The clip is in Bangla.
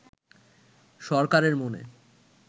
সরকারের মনে